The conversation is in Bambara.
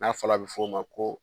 N'a fɔla a bɛ fɔ o ma ko